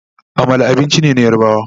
Amala abinci ne na yarbawa